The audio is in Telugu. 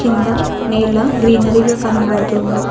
కింద నేల గ్రీనరీ గా కనబడుతుంది.